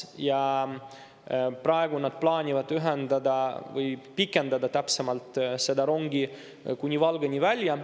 Ja praegu nad plaanivad ühendada, või pikendada täpsemalt, seda rongi kuni Valgani välja.